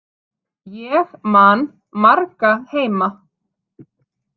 Ég man marga heima.